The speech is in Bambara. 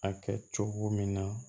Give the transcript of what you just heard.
A kɛ cogo min na